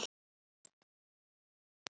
Hvíldu í friði, gamli vinur.